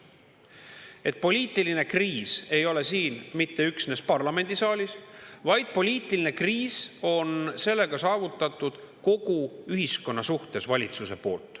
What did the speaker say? Nii et poliitiline kriis ei ole mitte üksnes siin parlamendisaalis, vaid sellega on valitsus saavutanud poliitilise kriisi kogu ühiskonnas.